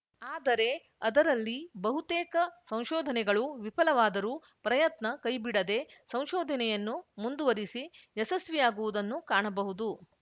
ಆದರೆ ಅದರಲ್ಲಿ ಬಹುತೇಕ ಸಂಶೋಧನೆಗಳು ವಿಫಲವಾದರೂ ಪ್ರಯತ್ನ ಕೈಬಿಡದೆ ಸಂಶೋಧನೆಯನ್ನು ಮುಂದುವರಿಸಿ ಯಶಸ್ವಿಯಾಗುವುದನ್ನು ಕಾಣಬಹುದು